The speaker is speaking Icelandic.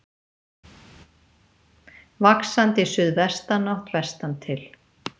Vaxandi suðvestanátt vestantil